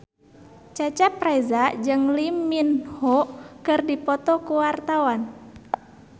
Cecep Reza jeung Lee Min Ho keur dipoto ku wartawan